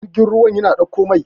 jirgin ruwa yana ɗaukar Mai